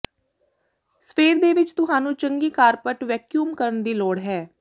ਸਵੇਰ ਦੇ ਵਿੱਚ ਤੁਹਾਨੂੰ ਚੰਗੀ ਕਾਰਪਟ ਵੈਕਿਊਮ ਕਰਨ ਦੀ ਲੋੜ ਹੈ